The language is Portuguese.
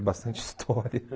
É bastante história.